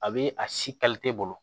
A be a si bolo